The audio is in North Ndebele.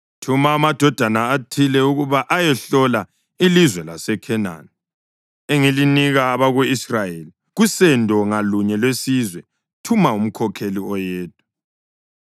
“Thuma amadoda athile ukuba ayehlola ilizwe laseKhenani, engilinika abako-Israyeli. Kusendo ngalunye lwesizwe thuma umkhokheli oyedwa.”